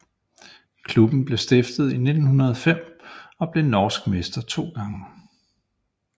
Klubben blev stiftet i 1905 og er blevet norsk mester 2 gange